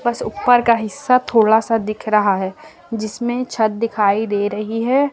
बस ऊपर का हिस्सा थोड़ा सा दिख रहा है जिसमें छत दिखाई दे रही है।